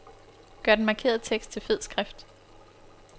Gør den markerede tekst til fed skrift.